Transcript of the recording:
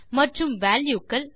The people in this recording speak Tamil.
மற்றும் வால்யூ க்கள்